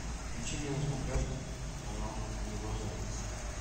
включи мне на смотрежке канал его тв